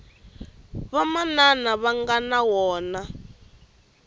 vamanana va nga na wona